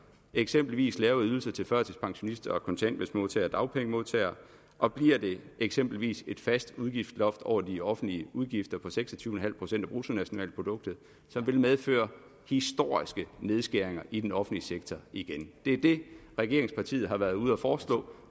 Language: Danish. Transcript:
eksempelvis lavere ydelser til førtidspensionister kontanthjælpsmodtagere og dagpengemodtagere og bliver det eksempelvis via et fast udgiftsloft over de offentlige udgifter på seks og tyve procent af bruttonationalproduktet som vil medføre historiske nedskæringer i den offentlige sektor igen det er det regeringspartiet været ude at foreslå